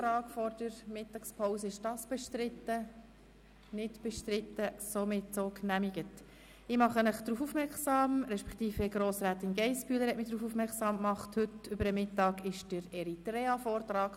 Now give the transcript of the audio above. Frau Grossrätin Geissbühler hat mich darauf hingewiesen, dass während der heutigen Mittagspause ein Vortrag zu Eritrea stattfindet.